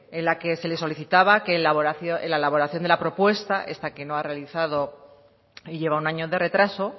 en la que se le solicitaba que en la elaboración de la propuesta esta que no ha realizado y lleva un año de retraso